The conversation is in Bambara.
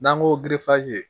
N'an ko